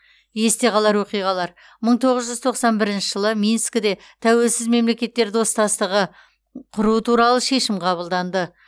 есте қалар оқиғалар мың тоғыз жүз тоқсан бірінші жылы минскіде тәуелсіз мемлекеттер достастығы құру туралы шешім қабылданды